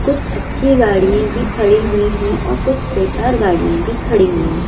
कुछ अच्छी गाड़िएं भी खड़ी हुई हैं औ कुछ बेकार गाड़िएं भी खड़ी हुई हैं।